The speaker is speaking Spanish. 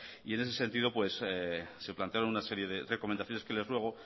y en ese sentido se plantearon una serie de recomendaciones que les ruego